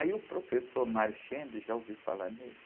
Aí o professor, já ouviu falar nele?